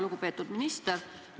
Lugupeetud minister!